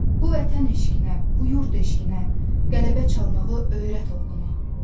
Bu vətən eşqinə, bu yurd eşqinə qələbə çalmağı öyrət oğluma.